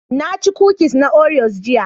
Na ci kukis na Oreos jiya